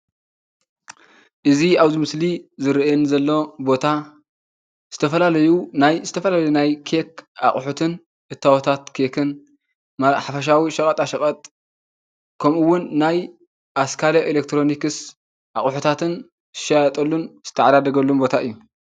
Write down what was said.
እዚ ኣብዚ ምስሊ ዝረኣየኒ ዘሎ ቦታ ዝተፈላለዩ ናይ ዝተፈላለዩ ናይ ኬክ ኣቁሑትን እታወታት ኬክን ሓፈሻዊ ሸቀጣሸቀጥ ከምእውን ናይ ኣስካለ ኤሌክትሮኒከስ ኣቁሕታትን ዝሻየጠሉን ዝተዓዳደገሉን ቦታ እዩ።